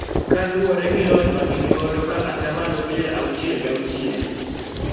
Kaluwore gi lony ma gin godo ka atamalo pier auchiel ga auchiel